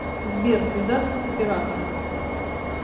сбер связаться с оператором